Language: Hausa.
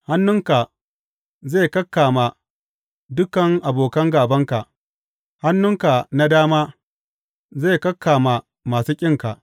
Hannunka zai kakkama dukan abokan gābanka; hannunka na dama zai kakkama masu ƙinka.